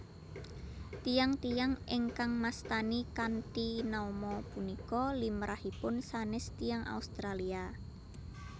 Tiyang tiyang ingkang mastani kanthi nama punika limrahipun sanés tiyang Australia